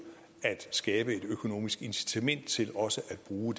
at skabe et økonomisk incitament til også at bruge